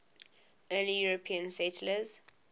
early european settlers